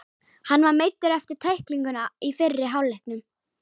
Hann var meiddur eftir tæklinguna í fyrri hálfleiknum.